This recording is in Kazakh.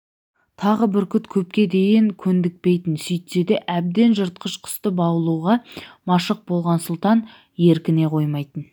тағы бүркіт көпке дейін көндікпейтін сөйтсе де әбден жыртқыш құсты баулуға машық болған сұлтан еркіне қоймайтын